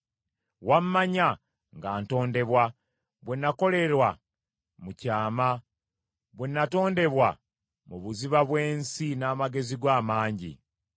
Wammanya nga ntondebwa, bwe nakolerwa mu kyama; bwe natondebwa mu buziba bw’ensi n’amagezi go amangi.